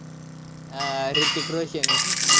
प्रश्नाचं नाय एवढी जे तयारी केली ये तुनी म्हणजेचं प्रश्नाचं नायये.